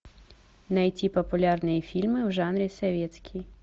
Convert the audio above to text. найти популярные фильмы в жанре советский